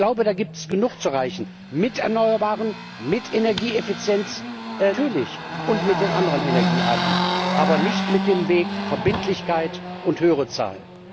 Und ich glaube, da gibt es genug zu erreichen mit Erneuerbaren, mit Energieeffizienz natürlich und mit den anderen Energiearten, aber nicht mit dem Weg Verbindlichkeit und höhere Zahlen.